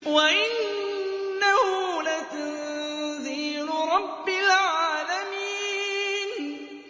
وَإِنَّهُ لَتَنزِيلُ رَبِّ الْعَالَمِينَ